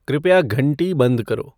कृपया घंटी बंद करो